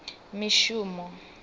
mishumo